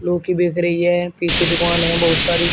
क्योंकि देख रही है पीछे दुकान है बहुत सारी।